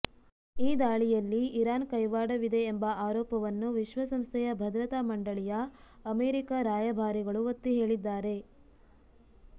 ಈ ದಾಳಿಯಲ್ಲಿ ಇರಾನ್ನ ಕೈವಾಡ ವಿದೆ ಎಂಬ ಆರೋಪವನ್ನು ವಿಶ್ವಸಂಸ್ಥೆಯ ಭದ್ರತಾ ಮಂಡಳಿಯ ಅಮೆರಿಕ ರಾಯಭಾರಿಗಳು ಒತ್ತಿ ಹೇಳಿದ್ದಾರೆ